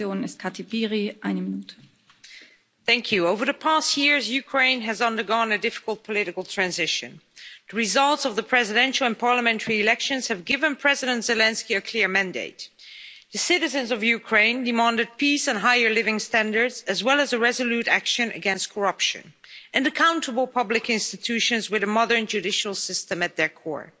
Madam President, over the past years, Ukraine has undergone a difficult political transition. The results of the presidential and parliamentary elections have given President Zelensky a clear mandate the citizens of Ukraine demanded peace and higher living standards, as well as resolute action against corruption, and accountable public institutions with a modern judicial system at their core.